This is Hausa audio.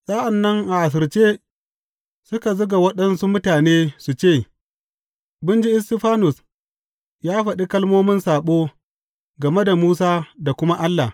Sa’an nan a asirce suka zuga waɗansu mutane su ce, Mun ji Istifanus ya faɗa kalmomin saɓo game da Musa da kuma Allah.